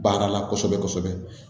Baara la kosɛbɛ kosɛbɛ